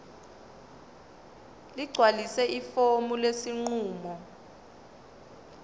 ligcwalise ifomu lesinqumo